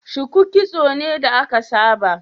Shuku kitso ne da aka saba